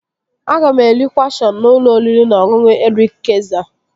Aga m eri kwụasọn n'ụlọ oriri na ọṅụṅụ Erik Kayzer